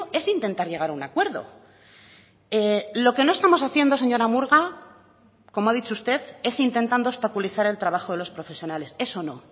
es intentar llegar a un acuerdo lo que no estamos haciendo señora murga como ha dicho usted es intentando obstaculizar el trabajo de los profesionales eso no